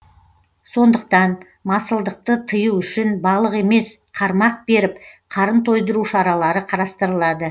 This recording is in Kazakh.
сондықтан масылдықты тыю үшін балық емес қармақ беріп қарын тойдыру шаралары қарастырылады